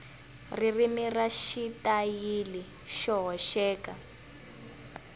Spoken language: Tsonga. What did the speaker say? ririmi na xitayili xo hoxeka